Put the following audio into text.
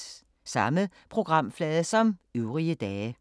Samme programflade som øvrige dage